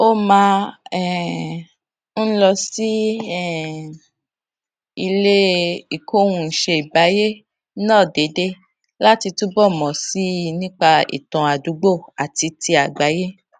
ó máa um ń lọ sí um ilé ìkóhunìṣèǹbáyé náà déédéé láti túbò mò sí i nípa ìtàn àdúgbò àti ti àgbáyé